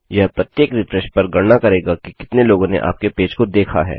यह प्रत्येक रिफ्रेशपर गणना करेगा कि कितने लोगों ने आपके पेज को देखा है